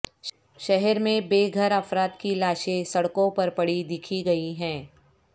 شہر میں بےگھر افراد کی لاشیں سڑکوں پر پڑی دیکھی گئی ہیں